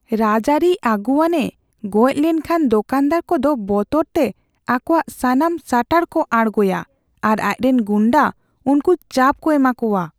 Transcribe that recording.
ᱨᱟᱡᱟᱹᱨᱤ ᱟᱹᱜᱩᱣᱟᱹᱱ ᱮ ᱜᱚᱡ ᱞᱮᱱ ᱠᱷᱟᱱ ᱫᱚᱠᱟᱱᱫᱟᱨ ᱠᱚᱫᱚ ᱵᱚᱛᱚᱨ ᱛᱮ ᱟᱠᱚᱣᱟᱜ ᱥᱟᱱᱟᱢ ᱥᱟᱴᱟᱨ ᱠᱚ ᱟᱲᱜᱳᱭᱟ ᱟᱨ ᱟᱡᱨᱮᱱ ᱜᱩᱱᱰᱟᱹ ᱩᱱᱠᱩ ᱪᱟᱯ ᱠᱚ ᱮᱢᱟ ᱠᱚᱣᱟ ᱾